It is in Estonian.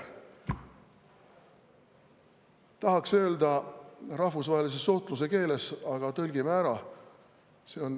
Tahaks öelda rahvusvahelise suhtluse keeles, aga tõlgime ära.